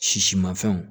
Sisimafɛnw